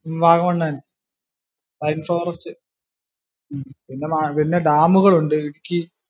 വാഗമണ് തന്നെ pine forest പിന്നെ ഡാമുകൾ ഉണ്ട് ഇടുക്കി